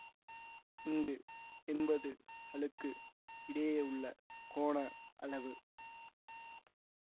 இங்கு என்பது களுக்கு இடையேயுள்ள கோண அளவு